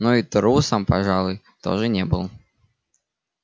но и трусом пожалуй тоже не был